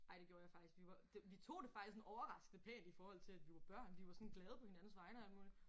Ej det gjorde jeg faktisk. Vi var det vi tog det faktisk sådan overraskende pænt i forhold til at vi var børn. Vi var sådan glade på hinandens vegne og alt muligt